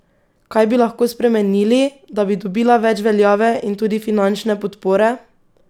Kaj bi lahko spremenili, da bi dobila več veljave in tudi finančne podpore?